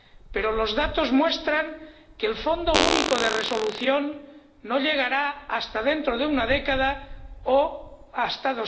Pero los datos muestran que el Fondo Único de Resolución no llegará hasta dentro de una década o hasta